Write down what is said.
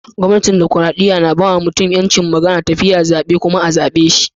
Gwamnatin dimokuradiyya na ba ma mutum yancin magana, tafiya, zabe kuma a'zabe shi.